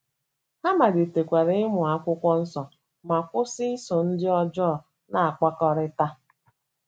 Ha malitekwara ịmụ akwụkwọ nsọ ma kwụsị iso ndị ọjọọ na - akpakọrịta. ”